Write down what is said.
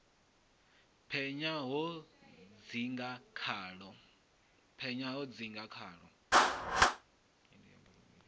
penya ho sa dzinga khaḽo